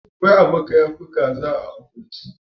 Ƙwai a baka yafi kaza a akurki